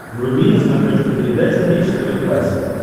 вруби на смотрешке передачу бридж тв классик